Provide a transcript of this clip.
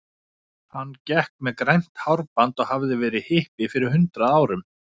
Hann gekk með grænt hárband og hafði verið hippi fyrir hundrað árum.